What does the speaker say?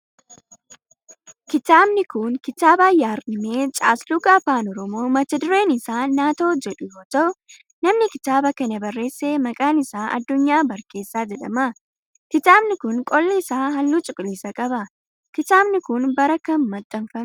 Kitaabni kun kitaaba yaadrimee caasluga afaan oromoo mata dureen isaa natoo jedhu yoo ta'u namni kitaaba kana barreesse maqaan isaa Addunyaa Barkeessaa jedhama. Kitaabni kun qolli isaa halluu cuquliisa qaba. Kitaabni kun bara kam maxxanfame?